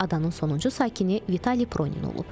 Adanın sonuncu sakini Vitali Pronin olub.